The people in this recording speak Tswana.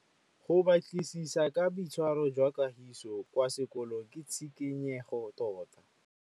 Go batlisisa ka boitshwaro jwa Kagiso kwa sekolong ke tshikinyêgô tota.